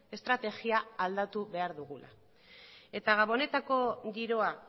estrategia aldatu behar dugula eta gabonetako giroa